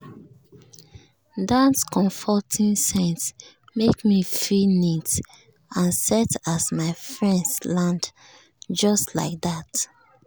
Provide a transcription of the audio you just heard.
that comforting scent make me feel neat and set as my friends land just like that.